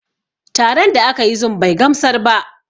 Taron da aka yi zum bai gamsar ba